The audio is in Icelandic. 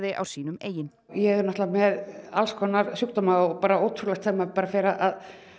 á sínum eigin ég er náttúrulega með alls konar sjúkdóma og ótrúlegt þegar maður fer að